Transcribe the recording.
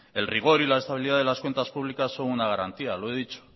el rigor y la estabilidad de las cuentas públicas son una garantía lo he dicho